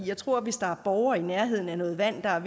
jeg tror at hvis der er borgere i nærheden af noget vand der er